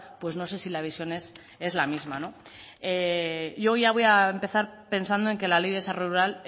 pues no sé si la visión es la misma yo ya voy a empezar pensando en que la ley de desarrollo rural